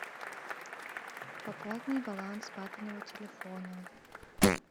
пополни баланс папиного телефона